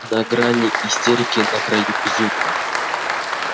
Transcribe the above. на грани истерики на краю безумия